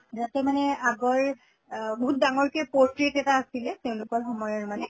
তাতে মানে আগৰ অহ বহুত ডাঙৰকে portrait এটা আছিলে তেওঁলোকৰ সময়ৰ মানে